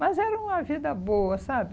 Mas era uma vida boa, sabe?